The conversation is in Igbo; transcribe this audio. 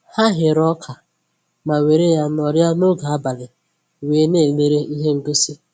Ha ghere ọka ma were ya nọrịa n'oge abalị wee na-elere ihe ngosi